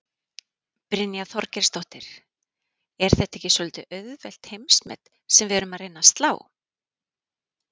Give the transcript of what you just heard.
Brynja Þorgeirsdóttir: Er þetta ekki svolítið auðveld heimsmet sem við erum að reyna að slá?